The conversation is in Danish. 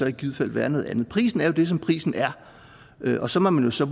i givet fald være noget andet prisen er det som prisen er og så må man jo så